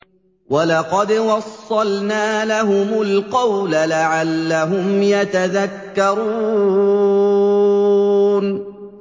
۞ وَلَقَدْ وَصَّلْنَا لَهُمُ الْقَوْلَ لَعَلَّهُمْ يَتَذَكَّرُونَ